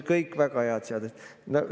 Kõik väga head seadused.